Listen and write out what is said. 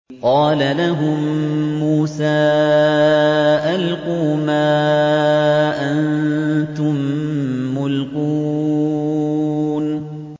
قَالَ لَهُم مُّوسَىٰ أَلْقُوا مَا أَنتُم مُّلْقُونَ